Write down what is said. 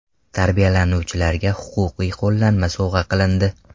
Tarbiyalanuvchilarga huquqiy qo‘llanmalar sovg‘a qilindi.